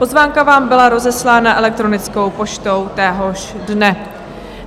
Pozvánka vám byla rozeslána elektronickou poštou téhož dne.